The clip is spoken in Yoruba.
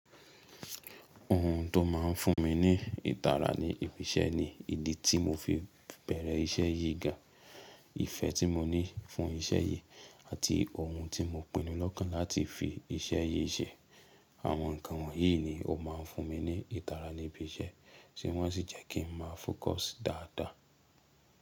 Ohun tó máa ń fún mi ní ìtara níbi iṣẹ́ ni ìdí tí mo fi bẹ̀rẹ̀ iṣẹ́ yìí ga, ìfẹ́ tí mo ní fún iṣẹ́ yìí àti ohun tí mo pinnu lọ́kàn láti fi iṣẹ́ yìí ṣe. Àwọn nǹkan wọ̀nyí ni ó máa ń fún mi ní ìtara níbi iṣẹ́, ṣé wọ́n sì jẹ́ kí ń máa focus dáadáa.